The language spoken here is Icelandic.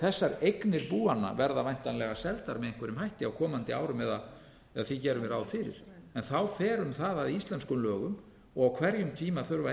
þessar eignir búanna verða væntanlega seldar með einhverjum hætti á komandi árum eða því gerum við ráð fyrir en þá fer um það að íslenskumlögum á hverjum tíma þurfa